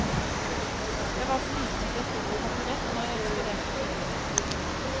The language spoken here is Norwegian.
Jeg var så liten at jeg sto på taburett når jeg ekspederte kunder.